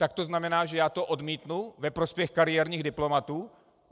Tak to znamená, že já to odmítnu ve prospěch kariérních diplomatů?